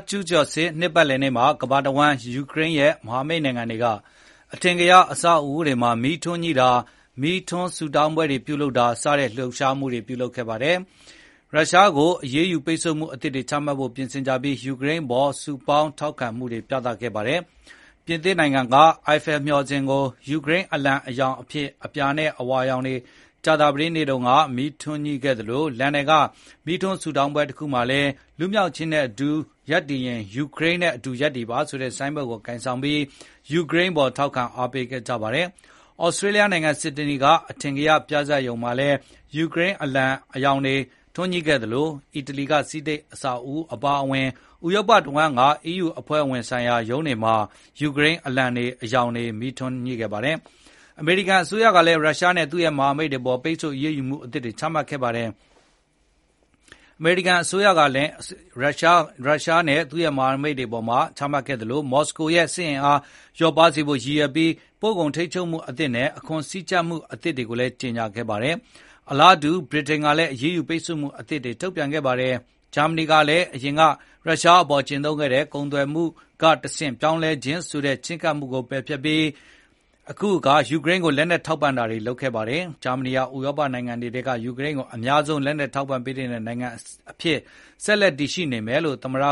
ကျူးကျော်စစ် နှစ်ပတ်လည်နေ့မှာ ကမ္ဘာတဝန်းက ယူကရိန်းရဲ့ မဟာမိတ်နိုင်ငံတွေက အထင်ကရ အဆောက်အဦးတွေမှာ မီးထွန်းညှိတာ၊ မီးထွန်းဆုတောင်းပွဲတွေ ပြုလုပ်တာ စတဲ့ လှုပ်ရှားမှုတွေ ပြုလုပ်ခဲ့ကြသလို ရုရှားကို အရေးယူပိတ်ဆို့မှု အသစ်တွေ ချမှတ်ဖို့ ပြင်ဆင်ကြပြီး ယူကရိန်း အပေါ် စုပေါင်းထောက်ခံမှုတွေ ပြသခဲ့ပါတယ်။ ပြင်သစ်က အီဖယ်လ် (Eiffel) မျှော်စင်ကို ယူကရိန်း အလံ အရောင် ဖြစ်တဲ့ အပြာနဲ့ အဝါရောင် တွေနဲ့ ကြာသပတေးနေ့ညက မီးထွန်းညှိခဲ့သလို လန်ဒန်က မီးထွန်းဆုတောင်းပွဲတခုမှာလည်း "လွတ်လပ်ခြင်းနဲ့အတူ ရပ်တည်ရင် ယူကရိန်းနဲ့ အတူ ရပ်တည်ပါ" ဆိုတဲ့ ဆိုင်းဘုတ် ကိုင်ဆောင်ပြီး ယူကရိန်းအပေါ် ထောက်ခံ အားပေးခဲ့ကြပါတယ်။ သြစတြေးလျ နိုင်ငံ ဆစ်ဒနီ က အထင်ကရနေရ အော်ပရာဟောက်စ် မှာလည်း ယူကရိန်း အလံ အရောင်တွေ ထွန်းညှိခဲ့သလို အီတလီ က ဆီနိတ် အဆောက်အဦး အပါအဝင် ဥရောပတဝန်းက အီးယူ အဖွဲအစည်းဆိုင်ရာ ရုံးတွေမှာလည်း ယူကရိန်းအလံအရောင်တွေ မီးထွန်းခဲ့ပါတယ်။ အမေရိကန်အစိုးရကလည်း ရုရှားနဲ့ သူ့ မဟာမိတ်တွေအပေါ် ပိတ်ဆို့အရေးယူမှု အသစ်တွေ ချမှတ်ခဲ့ပါတယ်။ မော်စကိုရဲ့ စစ်အင်အားကို လျော့ပါးစေဖို့ ရည်ရွယ်ပြီး ပို့ကုန်ထိန်းချုပ်မှုအသစ်နဲ့ အခွန်စည်းကြပ်မှုအသစ်တွေကို ကြေညာခဲ့ပါတယ်။ အလားတူ ဗြိတိန်ကလည်း အရေးယူ ပိတ်ဆို့မှုအသစ်တွေ ထုတ်ပြန်ခဲ့ပါတယ်။ ဂျာမနီကလည်း အရင်က ရုရှအပေါ် ကျင့်သုံးခဲ့တဲ့ “ကုန်သွယ်မှုကတဆင့် ပြောင်းလဲခြင်း” ဆိုတဲ့ ချည်းကပ်မှုကို ပယ်ဖျက်ခဲ့ပြီး ယူကရိန်းကို လက်နှက်ထောက်ပံ့တာတွေ လုပ်ခဲ့ပါတယ်။ ဂျာမနီဟာ ဥရောပနိုင်ငံတွေထဲက ယူကရိန်း ကို အများဆုံး လက်နက်ထောက်ပံ့ပေးနေတဲ့ နိုင်ငံ အဖြစ် ဆက်ရှိနေမယ်လို့လည်း သမ္မတ